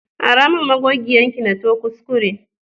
Ara min magogiyar ki, na to kuskure.